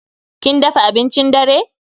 Kin dafa abincin dare?